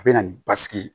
A bɛ na ni basigi ye